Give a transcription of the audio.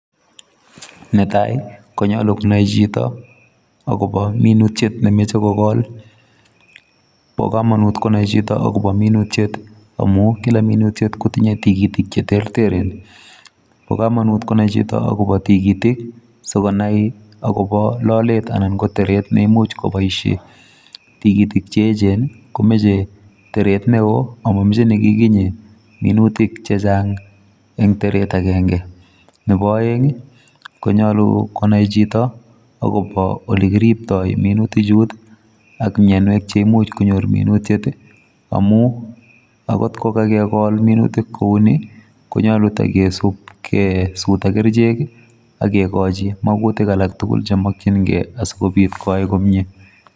Netai konyolu konai chito akobo minutiet nemoche kokol, bo komonut konai chito akobo minuet amun kila minutiet kotinye tigitik cheterteren. Bo kamnut konai chito akobo tigitik sikonai akobo lolet anan ko teret neimuch koboisien. Tigitik cheyechen komache teret neo ako ko momoche nekikinyit minutik chechang' en teret agenge. Nebo oeng' konyolu konai chito akobo ole kiriptoi minutik chu ak myonwek cheimuch konyor minutiet amun akot kokakekol minutiet kouni konyolu togesub tagesut ak kerichek ak kigochi mogutik alak tugul chemokyingei aikobit koyai komye.